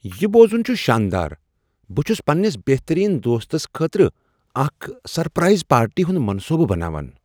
یہ بوزن چھ شاندار! بہٕ چھس پننس بہترین دوستس خٲطرٕ اکھ سرپرائز پارٹی ہنٛد منصوبہٕ بناوان۔